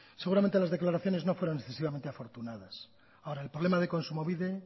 seguramente las declaraciones no fueron excesivamente afortunadas ahora el problema de kontsumobide